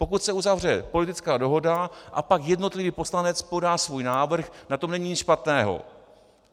Pokud se uzavře politická dohoda, a pak jednotlivý poslanec podá svůj návrh, na tom není nic špatného.